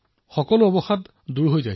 তেতিয়া সকলো ভাগৰ আঁতৰি যায়